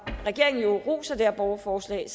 regeringen roser det her borgerforslag